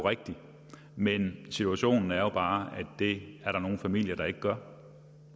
rigtigt men situationen er jo bare at det er der nogle familier der ikke gør